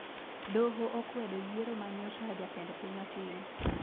Doho okwedo yiero manyocha jatend piny otimo